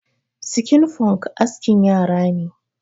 Sikin Funk askin yara ne.